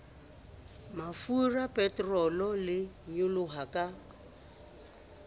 mafura peterole e nyoloha ka